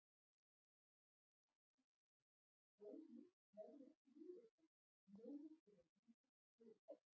Og það sem verra er, góð list verður ekki viðurkennd nema þegar ríkir friður.